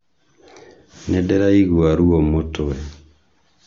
Nîndîraigua ruo mûtwe